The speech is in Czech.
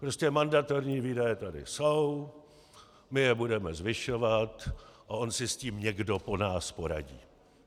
Prostě mandatorní výdaje tady jsou, my je budeme zvyšovat a on si s tím někdo po nás poradí.